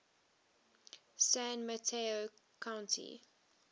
san mateo county